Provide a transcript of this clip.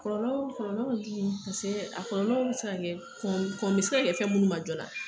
Kɔlɔlɔ kɔlɔlɔ ka jugun, paseke a kɔlɔlɔ bɛ se ka kɛ fɛn ,kɔn bɛ se ka kɛ fɛn minnu ma joona.